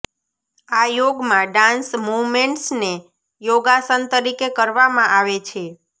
આ યોગમાં ડાન્સ મૂવમેન્ટ્સને યોગાસન તરીકે કરવામાં આવે છે